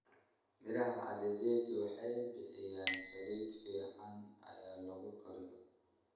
Miraha alizeti waxay bixiyaan saliid fiican ya lagu kariyo.